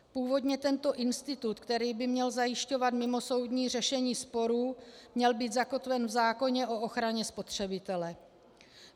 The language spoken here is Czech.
Původně tento institut, který by měl zajišťovat mimosoudní řešení sporů, měl být zakotven v zákoně o ochraně spotřebitele.